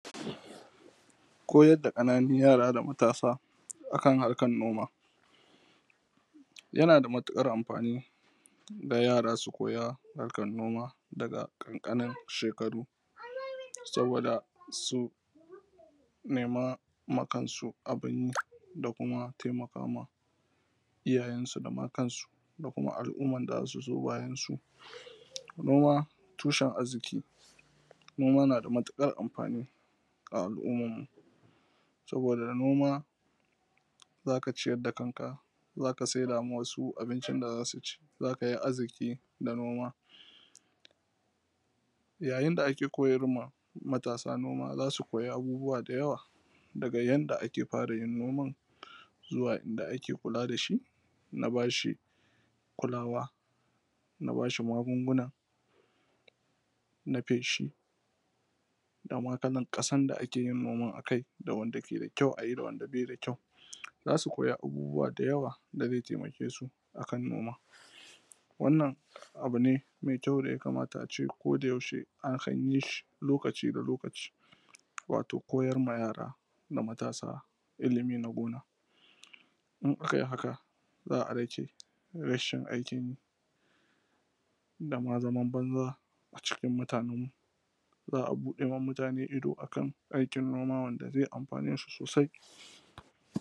koyar da ƙananun yara da matasa akan harkan noma yana da matuƙar amfani ga yara su koya harkan noma daga ƙanƙanin shekaru sabida su nema ma kan su abun yi da kuma taimaka ma iyayen su da ma kan su da kuma al’ummar da zasu zo bayan su noma tushen arziki noma nada matuƙar amfani a al’ummar mu sabida da noma zaka ciyar da kan ka zaka saida ma wasu abincin da zasu ci zakai arziki da noma yayin da ake koyar ma matasa noma zasu koyi abubuwa da yawa daga yanda ake fara yin noman zuwa inda ake kula dashi na bashi kulawa na bashi magunguna na feshi dama kalar ƙasan da ake yin noman akai da wanda yake da kyau ayi da wanda bai da zasu koya abubuwa da yawa da zai taimake su akan noman wannan abu ne mai kyau da ya kamata ace koda yaushe akan yi shi lokaci da lokaci wato koyar ma yara da matasa ilmi na gona in akayi haka za a rage rashin aikin yi dama zaman banza a cikin mutanen mu za a buɗa ma mutane ido akan aikin noma wanda zai amfane su sosai